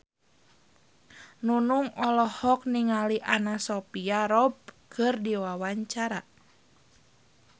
Nunung olohok ningali Anna Sophia Robb keur diwawancara